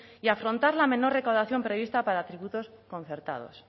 y afrontar la menor recaudación prevista para tributos concertados